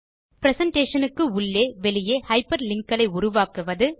presentation க்கு உள்ளே வெளியே ஹைப்பர்லிங்க் களை உருவாக்குவது